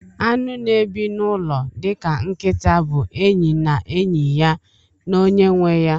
Anụ na ebi nụlọ dika nkita bu enyi na enyi ya na onye nweya.